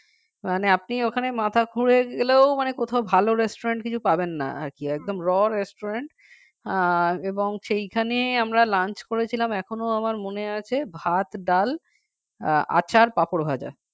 মানে আপনি ওখানে মাথা খুঁড়ে গেলেও মানে কোথাও ভাল restaurant কিছু পাবেন না আর কি একদম raw restaurant আর এবং সেখানে আমরা lunch করেছিলাম এখনও আমার মনে আছে৷ ভাত ডাল আচার পাঁপড় ভাজা